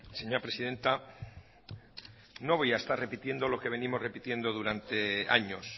señora presidenta no voy a estar repitiendo lo que venimos repitiendo durante años